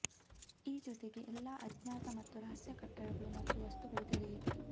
ಈ ಜೊತೆಗೆ ಎಲ್ಲಾ ಅಜ್ಞಾತ ಮತ್ತು ರಹಸ್ಯ ಕಟ್ಟಡಗಳು ಮತ್ತು ವಸ್ತುಗಳ ತೆರೆಯಿತು